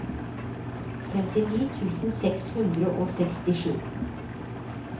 femtini tusen seks hundre og sekstisju